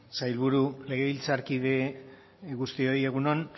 sailburu legebiltzarkide guztioi egun on